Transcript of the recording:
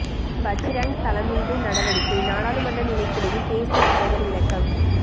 பஜ்ரங்தளம் மீது நடவடிக்கை நாடாளுமன்ற நிலைக்குழுவில் பேஸ்புக் தலைவர் விளக்கம்